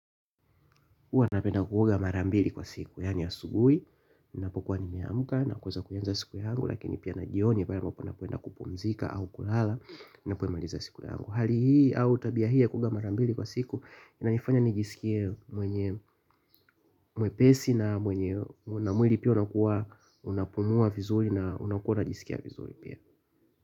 Huwa napenda kuoga mara mbili kwa siku, yaani ya asubuhi. Ninapokuwa nimeamka nakuweza kuanza siku yangu. Lakini pia na jioni, baadaye napenda kupumzika au kulala ninapomaliza siku yangu. Hali hii au tabia hii ya kuoga mara mbili kwa siku inanifanya nijisikie mwenye mwepesi na mwenye. Na mwili pia unapumua vizuri na unajisikia vizuri pia.